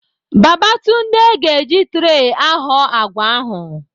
Babatunde ga-eji tree ahọ àgwà ahụ.